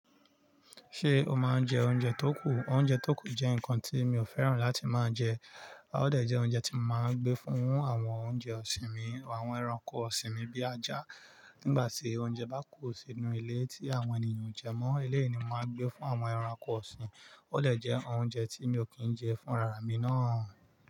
Ṣé o máa ń jẹ oúnjẹ tó kù? Oúnjẹ tó kù jẹ́ nǹkan tí mi ò fẹ́ràn láti máa jẹ. Ó dè jẹ́ oúnjẹ tí mo máa ń gbé fún àwọn oúnjẹ ọ̀sìn mi àwọn ẹranko ọ̀sìn mi bí ajá. Nígbà tí oúnjẹ bá kù sínú ilé tí àwọn ènìyàn o jẹ mọ́, eléyìí ni màá n gbé fún àwọn ẹranko ọ̀sìn. Ó de jẹ́ oúnjẹ tí mi ò kí ń jẹ fúnrarami náà.